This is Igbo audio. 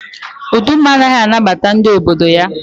Uduma anaghị anabata ndị obodo ya.